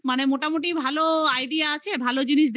মানে মোটামুটি ভালো idea আছে। ভালো জিনিস